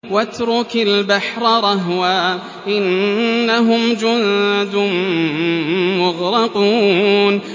وَاتْرُكِ الْبَحْرَ رَهْوًا ۖ إِنَّهُمْ جُندٌ مُّغْرَقُونَ